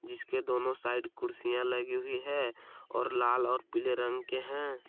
इसके दोनों साइड कुर्सियां लगी हुई है और लाल और पीले रंग के हैं।